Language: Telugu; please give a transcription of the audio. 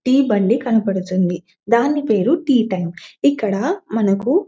టీ బండి కనబడుతుంది దాని పేరు టీ టైం ఇక్కడా మనకు --